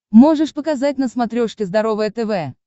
можешь показать на смотрешке здоровое тв